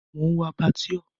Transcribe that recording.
Mò ń wo Abattoir.